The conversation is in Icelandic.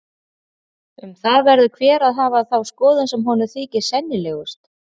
Um það verður hver að hafa þá skoðun sem honum þykir sennilegust.